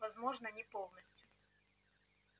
возможно не полностью